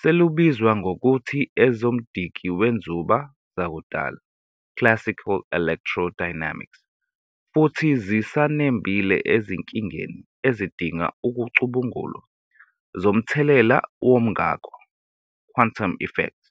selubizwa ngokuthi ezomdikiwenzuba zakudala "classical electrodynamics", futhi zisanembile ezinkingeni ezidinga ukucubungulwa zomthelela womngako "quantum effects".